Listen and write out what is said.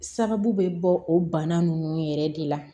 Sababu bɛ bɔ o bana ninnu yɛrɛ de la